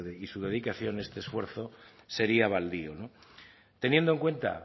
y su dedicación este esfuerzo sería baldío no teniendo en cuenta